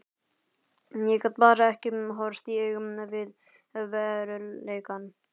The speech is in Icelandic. Ég gat bara ekki horfst í augu við veruleikann.